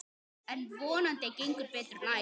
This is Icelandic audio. En vonandi gengur betur næst.